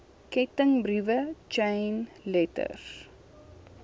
kettingbriewe chain letters